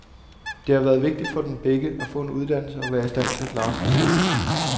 Det har været vigtigt for dem begge at få en uddannelse og være i stand til at klare sig selv.